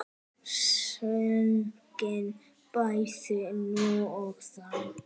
Sungin bæði nú og þá.